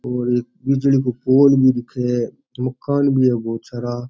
और एक बिजली को पोल भी दिखे और मकान भी है बहुत सारा।